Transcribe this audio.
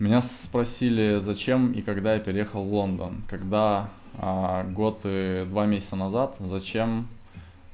меня спросили зачем и когда я переехал в лондон когда год и два месяца назад зачем